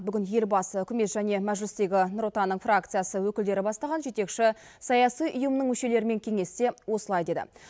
бүгін елбасы үкімет және мәжілістегі нұр отанның фракциясы өкілдері бастаған жетекші саяси ұйымның мүшелерімен кеңесте осылай деді